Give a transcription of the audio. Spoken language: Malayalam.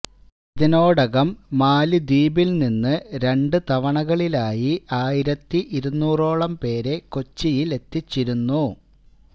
ഇതിനോടകം മാലദ്വീപില് നിന്ന് രണ്ട് തവണകളിലായി ആയിരത്തി ഇരുന്നുറോളം പേരെ കൊച്ചിയിലെത്തിച്ചിരുന്നു